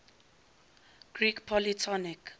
greek polytonic